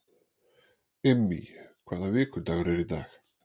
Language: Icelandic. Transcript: Immý, hvaða vikudagur er í dag?